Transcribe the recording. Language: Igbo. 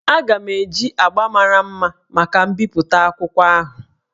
Aga m eji agbá mara mma maka mbipụta akwụkwọ ahụ